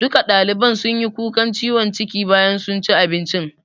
Duka ɗaliban sunyi kukan ciwon ciki bayan sun ci abincin